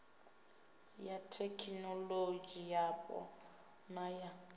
ya thekinolodzhi yapo na ya